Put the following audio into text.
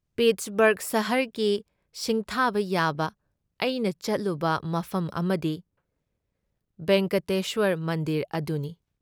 ꯄꯤꯠꯁꯕꯔꯒ ꯁꯍꯔꯒꯤ ꯁꯤꯡꯊꯥꯕ ꯌꯥꯕ ꯑꯩꯅ ꯆꯠꯂꯨꯕ ꯃꯐꯝ ꯑꯃꯗꯤ ꯚꯦꯡꯀꯇꯦꯁ꯭ꯋꯔ ꯃꯟꯗꯤꯔ ꯑꯗꯨꯅꯤ ꯫